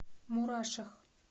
мурашах